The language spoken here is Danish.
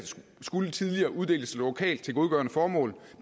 skulle tidligere uddeles lokalt til godgørende formål